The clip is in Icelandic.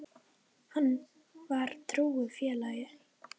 Hann var trúr félagi.